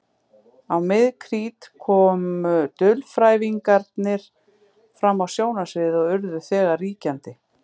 Á mið-krít komu dulfrævingarnir fram á sjónarsviðið og urðu þegar ríkjandi.